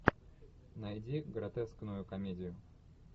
найди гротескную комедию